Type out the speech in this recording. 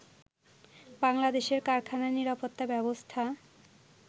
বাংলাদেশের কারখানা নিরাপত্তা ব্যবস্থা